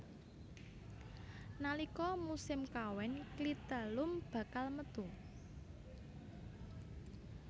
Nalika musim kawin klitelum bakal metu